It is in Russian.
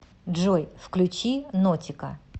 джой включи нотика